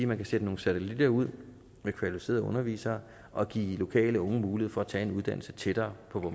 man kan sætte nogle satellitter ud med kvalificerede undervisere og give lokale unge mulighed for at tage en uddannelse tættere på hvor